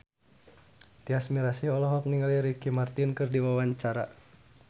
Tyas Mirasih olohok ningali Ricky Martin keur diwawancara